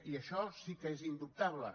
i això sí que és indubtable